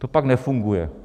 To pak nefunguje.